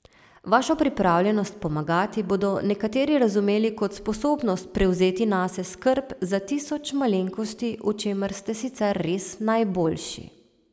Vašo pripravljenost pomagati bodo nekateri razumeli kot sposobnost prevzeti nase skrb za tisoč malenkosti, v čemer ste sicer res najboljši.